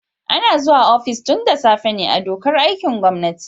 Ana zuwa ofis tun da safe ne a dokar aikin gwamnati.